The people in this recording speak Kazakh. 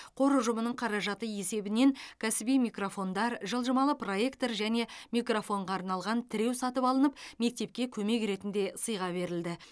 қор ұжымының қаражаты есебінен кәсіби микрофондар жылжымалы проектор және микрофонға арналған тіреу сатып алынып мектепке көмек ретінде сыйға берілді